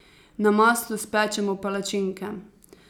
Na maslu spečemo palačinke.